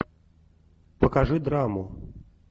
покажи драму